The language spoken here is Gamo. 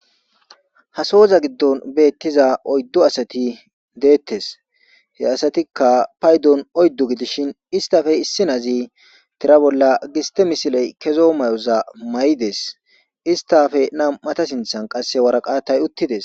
Sasowoza giddon beettiza oyddu asati deettes he asatikka paydon oyddu gidishin istafe issi nazi tira bolla giste misiley kezo may'oza may'ides istafe nam'ata sinthan qasse waraqatay uttides.